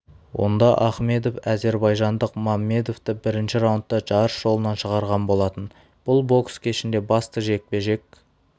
онда ахмедов әзербайжандық маммедовті бірінші раундта жарыс жолынан шығарған болатын бұл бокс кешінде басты жекпе-жек